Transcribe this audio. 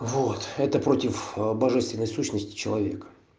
вот это против божественной сущности человека